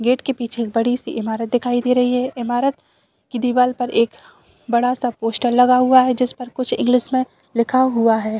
Gate के पीछे एक बड़ी सी इमारत दिखाई दे रही है इमारत की दीवाल पर एक बड़ा सा पोस्टर लगा हुआ हुआ है जिस पर कुछ इंग्लिश में लिखा हुआ है।